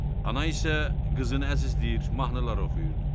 Ana isə qızını əzizləyir, mahnılar oxuyurdu.